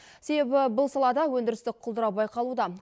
себебі бұл салада өндірістік құлдырау байқалуда